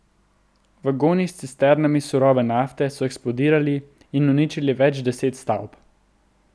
Vagoni s cisternami surove nafte so eksplodirali in uničili več deset stavb.